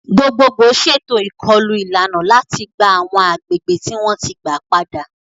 Gbogbogbò ṣètò ìkọlù ìlànà láti gba àwọn agbègbè tí wọ́n ti gba padà.